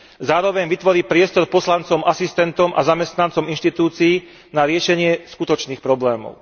Zároveň vytvorí priestor pre poslancov, asistentov a zamestnancov inštitúcií na riešenie skutočných problémov.